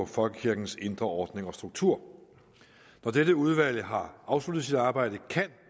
folkekirkens indre ordning og struktur når dette udvalg har afsluttet sit arbejde